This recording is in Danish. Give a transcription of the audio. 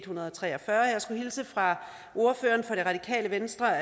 hundrede og tre og fyrre og jeg skulle hilse fra ordføreren for det radikale venstre